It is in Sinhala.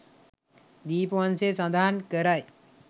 දීපවංසය සඳහන් කරයි.